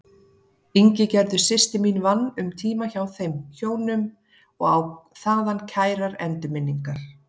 Ingigerður systir mín vann um tíma hjá þeim hjónum og á þaðan kærar endurminningar.